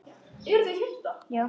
Og þá hrundi hann bara.